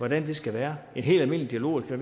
det skal være en helt almindelig dialog og det